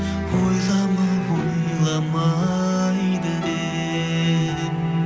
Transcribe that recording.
ойлама ойламайды деп